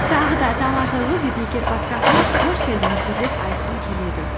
тағы да тамаша жыл подкастына қош келдіңіздер деп айтқым келеді